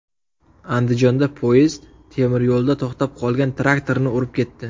Andijonda poyezd temiryo‘lda to‘xtab qolgan traktorni urib ketdi .